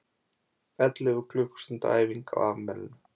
Ellefu klukkustunda æfing á afmælinu